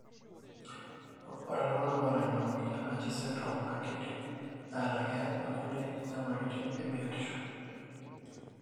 ore iltunganaa oata ina moyian naji syndrome na kindim ata keyaa inkulie nyamalitin ebiotisho.